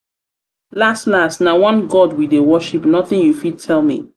las las na one god we dey worship nothing you fit tell me.